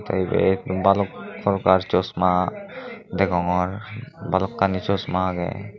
ibet balok prokar chosma degongor balokkani chosma agey.